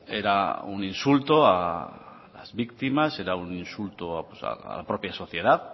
era un insulto a las víctimas era un insulto a la propia sociedad